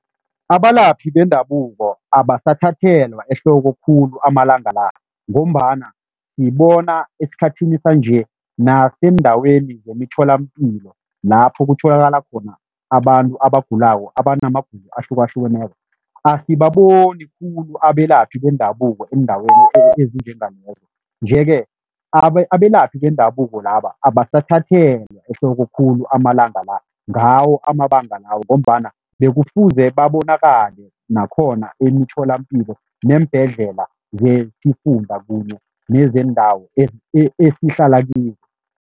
Abalaphi bendabuko abasathathelwa ehloko khulu amalanga la, ngombana sibona esikhathini sanje naseendaweni zemtholampilo lapho kutholakala khona abantu abagulako, abanamagulo ahlukahlukeneko, asibaboni khulu abelaphi bendabuko eendaweni ezinjengalezo nje-ke, abelaphi bendabuko laba abasathathelwa ehloko khulu amalanga la ngawo amabanga lawo ngombana bekufuze babonakale nakhona emitholapilo neembhedlela zesifunda kunye neezendawo esihlala kizo.